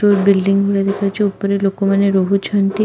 ଯେଉଁ ବିଲଡିଙ୍ଗ ଗୁଡା ଦେଖାଯାଉଛି ଉପରେ ଲୋକମାନେ ରହୁଛନ୍ତି ।